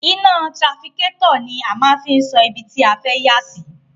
Iná trafikátọ̀ ni a máa fi ń sọ ibi tí a fẹ́ yà sí.